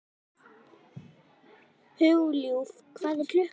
Hugljúf, hvað er klukkan?